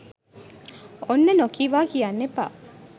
ඔන්න නොකීවා කියන්න එපා